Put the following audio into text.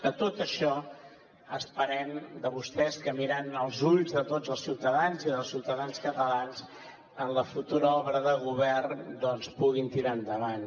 de tot això esperem de vostès que mirant als ulls de tots els ciutadans i dels ciutadans catalans en la futura obra de govern doncs que puguin tirar endavant